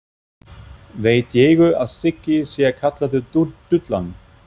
Veit Diego að Siggi sé kallaður Dúllan?